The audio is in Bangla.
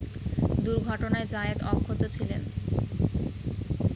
দুর্ঘটনায় জায়েত অক্ষত ছিলেন